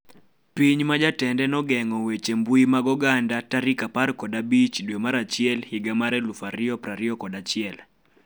Piny ma jatende nogeng'o weche mbui mag oganda 15 dwe mar achiel higa mar 2021